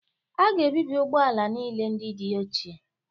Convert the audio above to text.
A ga-ebibi ụgbọ ala niile ndị dị ochie